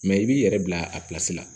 Mɛ i b'i yɛrɛ bila a la